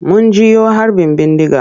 Mun jiyo harbin bindiga.